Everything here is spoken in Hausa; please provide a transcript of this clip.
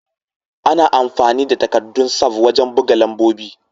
Ana amfani da takaddun sav wajen buga lambobi.